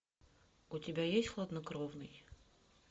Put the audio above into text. у тебя есть хладнокровный